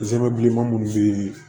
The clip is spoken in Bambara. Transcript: zeriman munnu be yen